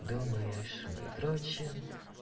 думаешь мы дрочим